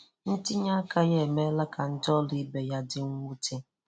Ntìnyè aka ya emèèlà ka ndị ọrụ ibe ya dị nnwùtè.